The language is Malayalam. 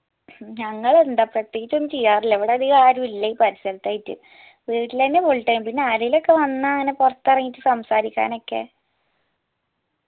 ഞങ്ങളെന്താപ്പാ പ്രേത്യേകിച് ഒന്നും ചെയ്യാറില്ല ഇവിടെ അതികം ആരൂല്ല ഈ പരിസരത്തായിട്ട് പിന്നെ വീട്ടിലെന്നെ full time പിന്നെ ആരേലുയൊക്കെ വന്നാൽ അങ്ങനെ പോർത്ത് എറങ്ങീട്ട് സംസാരിക്കാനൊക്കെ